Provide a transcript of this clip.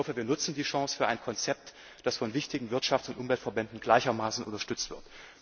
Ich hoffe, wir nutzen die Chance für ein Konzept, das von wichtigen Wirtschafts und Umweltverbänden gleichermaßen unterstützt